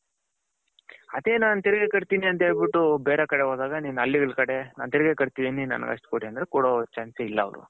ಅದೇ ನನ್ ತೆರಿಗೆ ಕಟ್ತಿನಿ ಅಂತ ಹೇಳ್ಬುತು ಬೇರೆ ಕಡೆ ಹೋದಾಗ ನಿನ್ ಹಳ್ಳಿಗಳ ಕಡೆ ನನ್ ತೆರಿಗೆ ಕಟ್ತಿದಿನಿ ನನಗೆ ಅಷ್ಟು ಕೊಡಿ ಅಂದ್ರೆ ಕೊಡ chance ಎ ಇಲ್ಲ ಅವರು.